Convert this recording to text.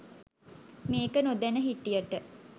මේක නොදැන හිටියට